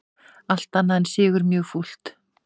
Allt annað en sigur mjög fúlt